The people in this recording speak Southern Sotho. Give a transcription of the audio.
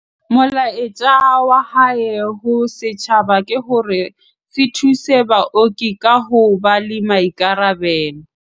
Molaetsa wa hae ho setjhaba ke hore se thuse baoki ka ho ba le maikarabelo.